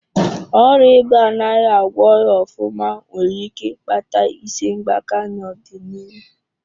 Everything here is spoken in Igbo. Ọrịa ịba anaghị agwọghị ofụma nwere ike ịkpata isi gbaka n'ọdịnihu.